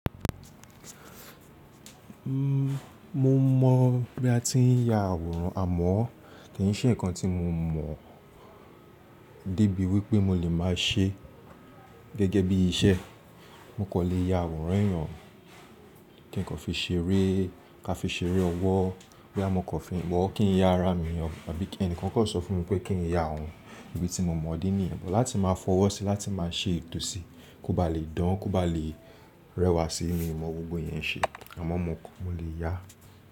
Mó mọ̀ bí a ti ń ya àwòrán, àmọ́ kì í ṣe nǹkan tí mo mọ̀ débi wípé mo lè máa ṣe gẹ́gẹ́ bí iṣẹ́. Mo kò lè ya àwòrán ẹ̀yàn kí n kò fi ṣeré, ká fi ṣeré ọwọ́, bóyá mo kò fi wọ̀, kí n ya ara mi ọ, tàbí kí ẹnìkan kò sọ fún mi pé kí n ya òun, ibi tí mo mọ̀ ọ́ ní ìbọn láti máa fọwọ́ sí i, láti máa ṣe ètò sí i, kó ba lè dán, kó ba lè rẹwà sí i ni mo mọ gbogbo yẹn ṣe, àmọ́ mo, mo lè yá.